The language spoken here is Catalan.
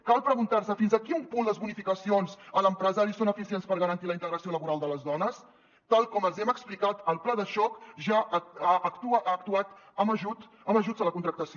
cal preguntar·se fins a quin punt les bonificacions a l’empresari són efi·cients per garantir la integració laboral de les dones tal com els hi hem explicat el pla de xoc ja ha actuat amb ajuts a la contractació